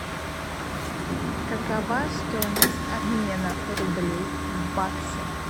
какова стоимость обмена рублей в баксы